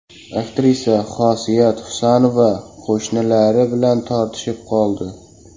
Aktrisa Xosiyat Husanova qo‘shnilari bilan tortishib qoldi.